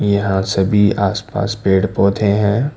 यहां सभी आसपास पेड़ पौधे हैं।